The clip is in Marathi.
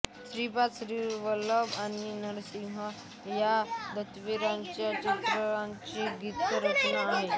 श्रीपाद श्रीवल्लभ आणि नरसिंह या दत्तावतारांच्या चरित्रांवर ही गीतरचना आहे